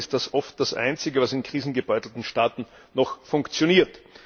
Immerhin ist das oft das Einzige, was in krisengebeutelten Staaten noch funktioniert.